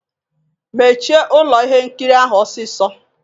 Mechie ụlọ ihe nkiri ahụ ọsịsọ!